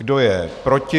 Kdo je proti?